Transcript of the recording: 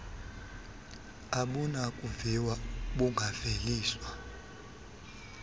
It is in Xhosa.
abunakuviwa d bungaveliswa